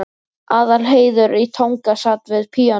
Aðalheiður í Tanga sat við píanóið.